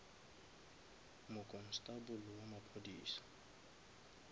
mokonstable wa maphodisa